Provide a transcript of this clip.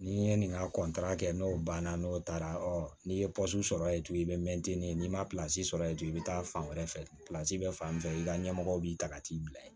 N'i ye nin ka kɛ n'o banna n'o taara ɔ n'i ye sɔrɔ yen dun i bɛ mɛtiri n'i ma sɔrɔ yen dun i bɛ taa fan wɛrɛ fɛ bɛ fan min fɛ i ka ɲɛmɔgɔ b'i ta ka t'i bila yen